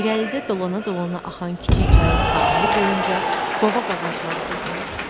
İrəlidə dolana-dolana axan kiçik çayın sahili boyunca qovaq ağacları düzülmüşdü.